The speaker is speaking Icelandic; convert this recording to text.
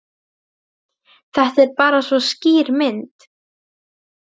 Þetta er bara svo skýr mynd.